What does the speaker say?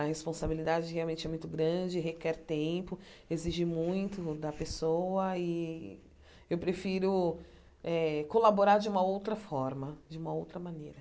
A responsabilidade realmente é muito grande, requer tempo, exige muito da pessoa e eu prefiro eh colaborar de uma outra forma, de uma outra maneira.